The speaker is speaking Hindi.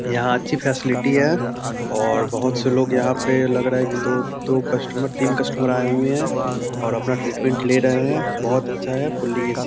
यहाँ अच्छी फैसिलिटी है और बहुत से लोग यहाँ पे लग रहा है की दो दो कस्टमर तीन कस्टमर आये हुए हैं और अपना ट्रीटमेंट ले रहे हैं बहुत अच्छा है फुली ए.सी. |